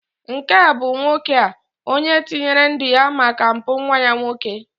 nke a bụ nwoke a, onye tinyere ndu ya maka mpụ nwa ya nwoke